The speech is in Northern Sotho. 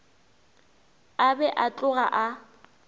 a be a tloga a